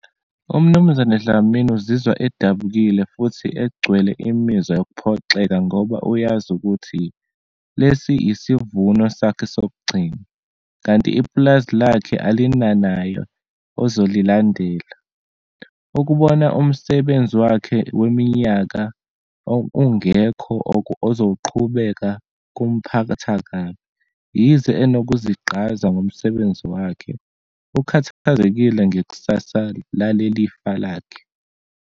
UMnumzane Dlamini uzizwa edabukile futhi egcwele imizwa yokuphoxeka ngoba uyazi ukuthi lesi isivuno sakhe sokugcina, kanti ipulazi lakhe alinanayo ozolilandela. Ukubona umsebenzi wakhe weminyaka ungekho ozowuqhubeka, kumphatha kabi. Yize enokuzigqaza ngomsebenzi wakhe, ukhathazekile ngekusasa lalelifa lakhe.